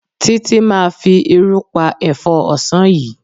Títí máa fi irú pa ẹ̀fọ́ ọ̀sán yìí.